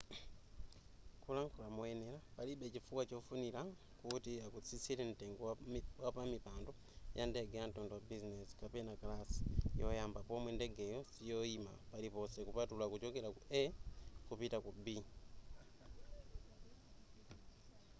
kulankhula moyenera palibe chifukwa chofunira kuti akutsitsire mtengo wa pamipando yandege yamtundu wa bizinezi kapena kalasi yoyamba pomwe ndegeyo siyoyima paliponse kupatula kuchokera ku a kupita ku b